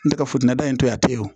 N tɛ ka futɛni da in to yen a tɛ wo